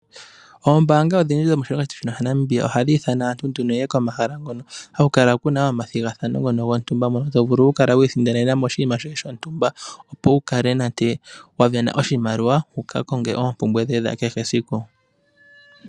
Oombaanga odhindji dhomoshilongo shetu Namibia ohadhi ithana aantu nduno yeye komahala ngono haku kala kuna omathigathano gontumba mono to vulu okukala wiisindanenamo oshinima shoye shontumba opo wu kale nande wa vena oshimaliwa wuka konge oompumbwe dhoye dha kehe esiku.